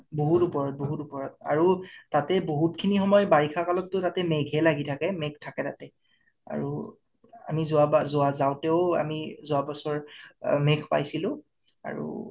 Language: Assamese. বহুত ওপৰত বহুত ওপৰত আৰু তাতে বহুত খিনি সময়ত বাৰিষা কালতটো তাতে মেঘে লাগি ঠাকে । মেঘ থাকে তাতে আৰু আমি যাওঁতেও আমি যোৱা বচৰ অ আমি মেঘ পাইছিলো আৰু